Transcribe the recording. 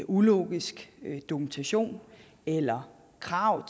ulogisk dokumentation eller krav